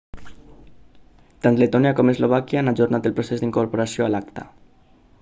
tant letònia com eslovàquia han ajornat el procés d'incorporació a l'acta